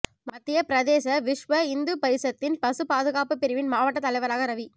மத்திய பிரதேச விஷ்வ இந்து பரிஷத்தின் பசு பாதுகாப்பு பிரிவின் மாவட்ட தலைவராக ரவி